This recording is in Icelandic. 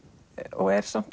og er samt